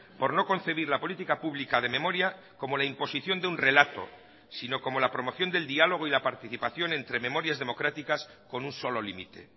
por no concebir la política pública de memoria como la imposición de un relato sino como la promoción del diálogo y la participación entre memorias democráticas con un solo límite